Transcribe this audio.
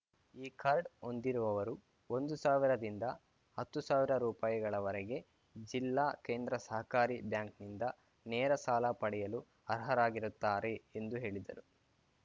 ಈ ಕಾರ್ಡ್‌ ಹೊಂದಿರುವವರು ಒಂದು ಸಾವಿರದಿಂದ ಹತ್ತು ಸಾವಿರ ರೂಪಾಯಿಗಳವರೆಗೆ ಜಿಲ್ಲಾ ಕೇಂದ್ರ ಸಹಕಾರಿ ಬ್ಯಾಂಕ್‌ನಿಂದ ನೇರ ಸಾಲ ಪಡೆಯಲು ಅರ್ಹರಾಗಿರುತ್ತಾರೆ ಎಂದು ಹೇಳಿದರು